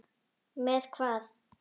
Með hvað?